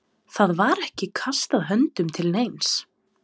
Það var ekki kastað höndum til neins.